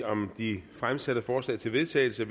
om de fremsatte forslag til vedtagelse